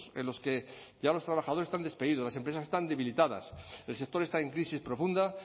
en los que ya los trabajadores están despedidos las empresas están debilitadas el sector está en crisis profunda